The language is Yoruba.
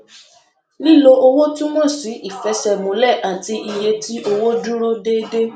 lílo owó túmọ sí ìfẹsẹmúlẹ àti iye tí owó dúró déédéé